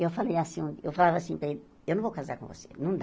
Eu assim o eu falava assim para ele, eu não vou casar com você, não dá.